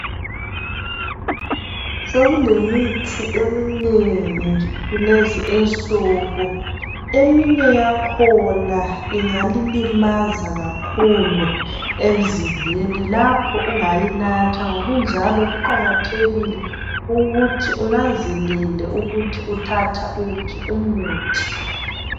Sokulemithi eminengi kulezi insuku eminye yakhona ingalilimaza kakhulu emzimbeni lapho ungayinatha ngokunjalo kuqakathekile ukuthi unanzelele ukuthi uthatha uphi umuthi.